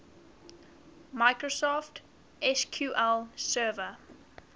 microsoft sql server